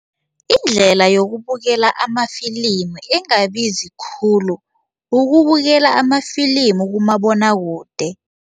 Indlela yokubukela amafilimu engabizi khulu ukubukela amafilimu kumabonwakude.